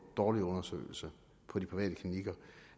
dårlige undersøgelser på de private klinikker